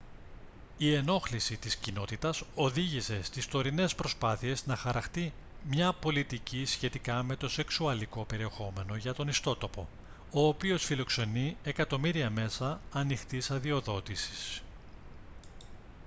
η ενόχληση της κοινότητας οδήγησε στις τωρινές προσπάθειες να χαραχτεί μια πολιτική σχετικά με το σεξουαλικό περιεχόμενο για τον ιστότοπο ο οποίος φιλοξενεί εκατομμύρια μέσα ανοιχτής αδειοδότησης